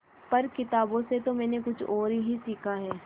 पर किताबों से तो मैंने कुछ और ही सीखा है